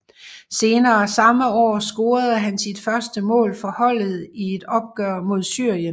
Senere samme år scorede han sit første mål for holdet i et opgør mod Syrien